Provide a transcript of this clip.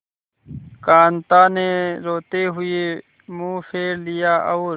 कांता ने रोते हुए मुंह फेर लिया और